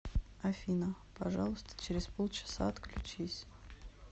афина пожалуйста через полчаса отключись